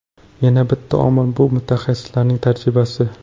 Yana bitta omil – bu mutaxassislarning tajribasi.